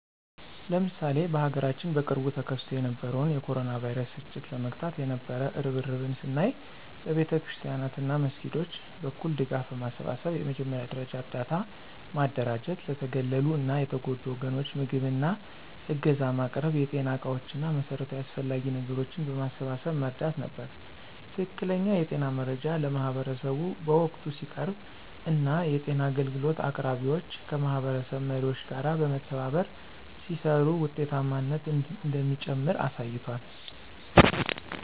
ለምሳሌ በሀገራችን በቅርቡ ተከስቶ የነበረውን የ ኮሮና ቫይረስ ስርጭት ለመግታት የነበው እርብርብን ስናይ በቤተክርስቲያናት እና መስጊዶች በኩል ድጋፍ በማሰባሰብ የመጀመሪያ ደረጃ እርዳታ ማደራጀት ለተገለሉ እና የተጎዱ ወገኖች ምግብ እና ዕገዛ ማቅረብ የጤና ዕቃዎች እና መሠረታዊ አስፈላጊ ነገሮችን በማሰባሰብ መርዳት ነበር። ትክክለኛ የጤና መረጃ ለማህበረሰቡ በወቅቱ ሲቀርብ እና የጤና አገልግሎት አቅራቢዎች ከማህበረሰብ መሪዎች ጋር በመተባበር ሲሰሩ ውጤታማነት እንደሚጨምር አሳይቷል።